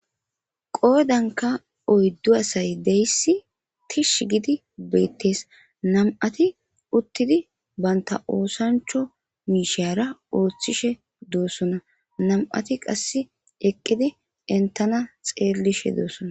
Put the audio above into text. Qodanka oydu asa gidizaysi tishi gidi beetes. Nam'ati uttidi banta osancho mishara othishe doosona nam'ati qaseka eqidi entana xeelishe de'osona.